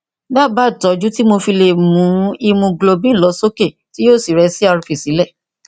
dábàá ìtọjú tí mo fi lè mu ìmúgilóbíìnì lọ sókè tí yóò sì rẹ crp sílẹ